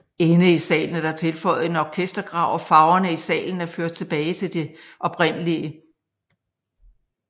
Inde i salen er der tilføjet en orkestergrav og farverne i salen er ført tilbage de oprindelige